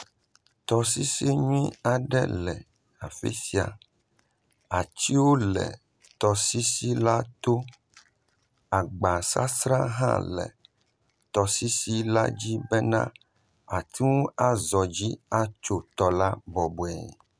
Tɔsisi nyuie aɖe le afisia. Atiwo le tɔsisi la tɔ. Agbassra hã le tɔsisi la dzi be wòateŋu àxɔ dzi atso tɔ la bɔbɔe.